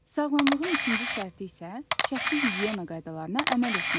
Sağlamlığın ikinci şərti isə şəxsi gigiyena qaydalarına əməl etməkdir.